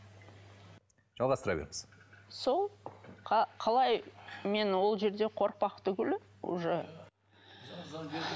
жалғастыра беріңіз сол қалай мен ол жерде қорықпақ түгілі уже